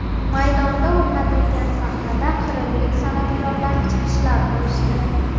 Maydonda o‘rnatilgan sahnada qrimlik san’atkorlar chiqishlar qilishdi.